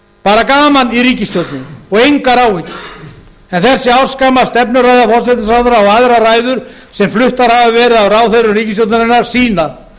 bara gaman í ríkisstjórninni og engar áhyggjur þessi ársgamla stefnuræða forsætisráðherra og aðrar ræður sem fluttar hafa verið af ráðherrum ríkisstjórnarinnar sýna að